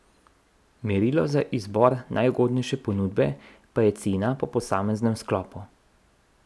Merilo za izbor najugodnejše ponudbe pa je cena po posameznem sklopu.